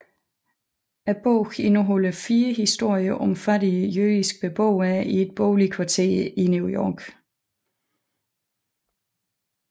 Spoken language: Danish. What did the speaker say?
Bogen indeholder fire historier om fattige jødiske beboere i et boligkvarter i New York